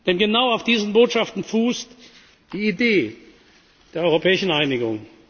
Denn genau auf dieser Botschaft fußt die Idee der europäischen Einigung.